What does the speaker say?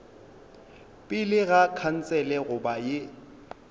pele ga khansele goba ye